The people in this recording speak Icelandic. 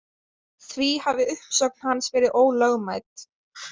Því hafi uppsögn hans verið ólögmæt